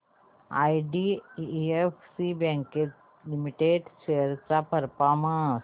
IDFC bank limited shares चा performance